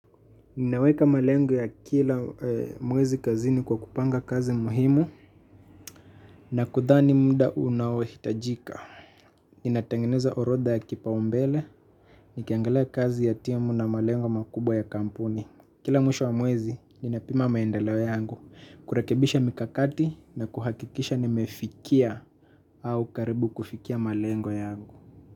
Ninaweka malengo ya kila mwezi kazini kwa kupanga kazi muhimu na kudhani muda unao hitajika. Inatengeneza orodha ya kipaumbele. Nikiangalia kazi ya timu na malengo makubwa ya kampuni kila mwisho wa mwezi, ninapima maendeleo yangu. Kurekebisha mikakati na kuhakikisha nimefikia au karibu kufikia malengo yangu.